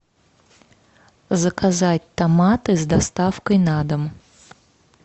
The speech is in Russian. заказать томаты с доставкой на дом